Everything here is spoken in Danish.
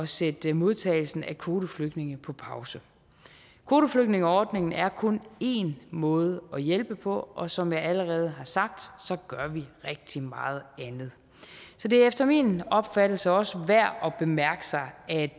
sætte modtagelsen af kvoteflygtninge på pause kvoteflygtningeordningen er kun én måde at hjælpe på og som jeg allerede har sagt gør vi rigtig meget andet så det er efter min opfattelse også værd at bemærke at